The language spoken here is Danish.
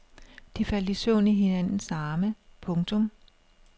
De faldt i søvn i hinandens arme. punktum